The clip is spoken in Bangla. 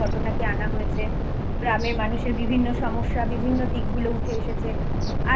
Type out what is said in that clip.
ঘটনাকে আনা হয়েছে গ্রামের মানুষের বিভিন্ন সমস্যা বিভিন্ন দিক গুলো উঠে এসেছে